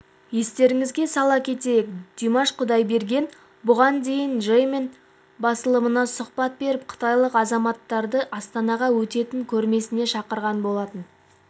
естеріңізге сала кетейік димаш құдайберген бұған дейін жэньминь басылымына сұхбат беріп қытайлық азаматтарды астанада өтетін көрмесіне шақырған болатын